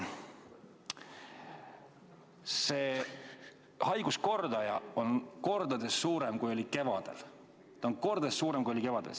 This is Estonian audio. See haiguskordaja on mitu korda suurem, kui oli kevadel.